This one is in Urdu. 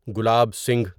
گلاب سنگھ